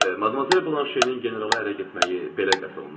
Madmazel Blanşenin generala ərə getməyi belə qəti olunub?